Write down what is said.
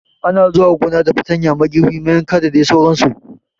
Ana zuwa gona da fartanya, magirbi mayanka da dai sauran su